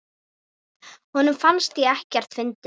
Honum fannst ég ekkert fyndin.